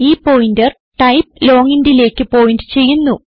ഈ pointer type long intലേക്ക് point ചെയ്യുന്നു